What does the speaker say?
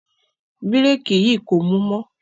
Bírèkì yìí kò mú mọ́.